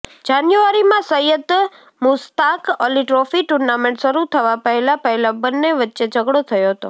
જાન્યુઆરીમાં Syed Mushtaq Ali trophy tournament શરુ થવા પહેલા પહેલા બંને વચ્ચે ઝઘડો થયો હતો